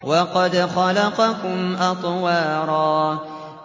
وَقَدْ خَلَقَكُمْ أَطْوَارًا